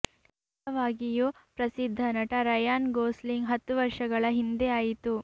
ನಿಜವಾಗಿಯೂ ಪ್ರಸಿದ್ಧ ನಟ ರಯಾನ್ ಗೊಸ್ಲಿಂಗ್ ಹತ್ತು ವರ್ಷಗಳ ಹಿಂದೆ ಆಯಿತು